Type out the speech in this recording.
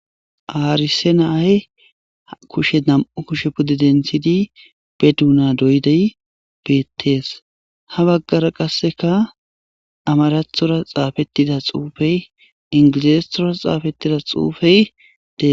Haarise naay kushe nam7u kushe pudde denthidi be duuna doydey beettees ha baggara qasseka amarathora xaafettida xuufey ingilizestora xaafettida xuufey dees.